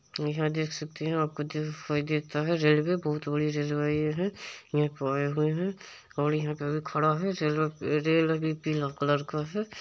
यहां देख सकते है आपको दिखाई देता है रेलवे बहुत बड़ी रेलवे ये है यहाँ पे आए हुए है और यहाँ पे अभी खड़ा है रेलवे रेल अभी पिला कलर का है।